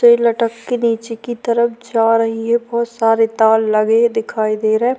तो ये लटक के नीचे की तरफ जा रही है भौत सारे तार लगे हुए दिखाई दे रहे।